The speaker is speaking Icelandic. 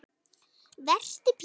Vertu Pétur.